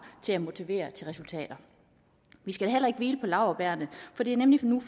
til at motivere til resultater vi skal heller ikke hvile på laurbærrene for det er nemlig